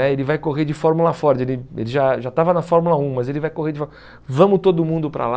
Ele vai correr de Fórmula Ford, ele ele já estava na Fórmula um, mas ele vai correr de Fór... Vamos todo mundo para lá.